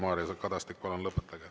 Mario Kadastik, palun lõpetage.